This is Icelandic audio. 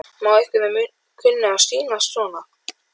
Má vera að einhverjum kunni að sýnast svo.